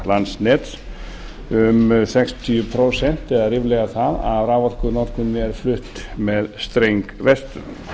landsnets um sextíu prósent eða ríflega það ef raforkunotkun er flutt með streng vestur